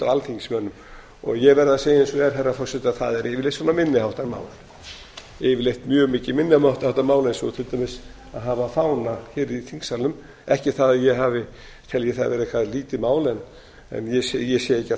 alþingismönnum og ég verð að segja eins og er herra forseti að það eru yfirleitt minni háttar mál yfirleitt mjög mikið minni háttar mál eins og til dæmis að hafa fána hér í þingsalnum ekki það að ég telji það vera eitthvað lítið mál en ég sé ekki að